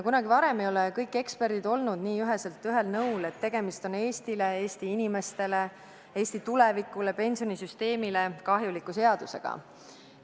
Kunagi varem ei ole kõik eksperdid olnud nii üheselt ühel nõul, et tegemist on Eestile, Eesti inimestele, Eesti tulevikule, pensionisüsteemile kahjuliku seadusega.